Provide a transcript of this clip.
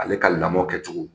Ale ka lamɔ kɛcogo